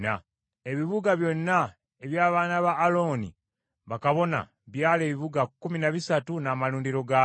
Ebibuga byonna eby’abaana ba Alooni bakabona byali ebibuga kkumi na bisatu n’amalundiro gaabyo.